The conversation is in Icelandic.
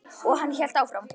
Og hann hélt áfram.